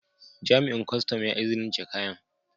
Jami'in Kwastam ya izinice kayan.